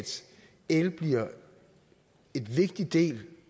el bliver en vigtig del